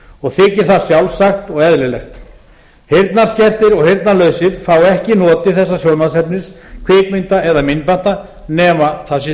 og þykir það sjálfsagt og eðlilegt heyrnarskertir og heyrnarlausir fá ekki notið þessa sjónvarpsefnis kvikmynda eða myndbanda nema það